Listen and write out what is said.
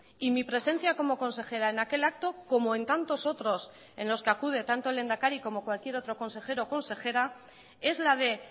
y mi presencia como consejera en aquel acto como en tantos otros en los que acude tanto el lehendakari como cualquier otro consejero o consejera es la de